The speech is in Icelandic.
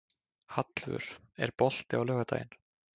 Hallvör, er bolti á laugardaginn?